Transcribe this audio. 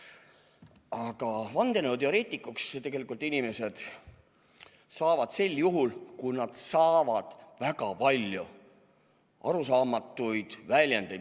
Aga vandenõuteoreetikuks tegelikult inimesed saavad sel juhul, kui nad kuulevad väga palju arusaamatuid väljendeid.